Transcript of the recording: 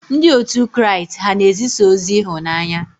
Ndị otu Kraịst ha na-ezisa ozi ịhụnanya?